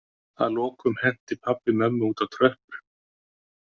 Að lokum henti pabbi mömmu út á tröppur.